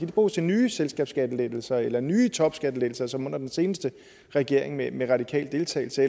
de bruges til nye selskabsskattelettelser eller nye topskattelettelser som under den seneste regering med med radikal deltagelse